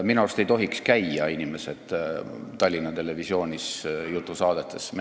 Minu arust ei tohiks käia inimesed Tallinna Televisiooni jutusaadetes.